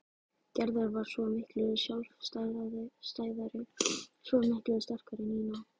Gerður var svo miklu sjálfstæðari, svo miklu sterkari en Nína.